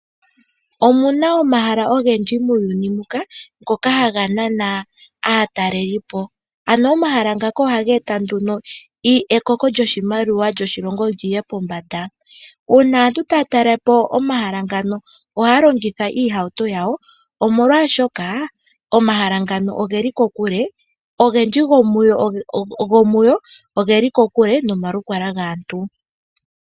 Omu na omahala ogendji muuyuni muka ngoka haga nana aatalelipo. Omahala ngaka ohaga eta ekoko lyoshimaliwa li ye pombanda. Uuna aantu taya talele po omahala ngaka ohaya longitha iihauto yawo, molwashoka omahala ngaka oge li kokule. Ogendji gomu go oge li kokule nomalukalwa gaantu.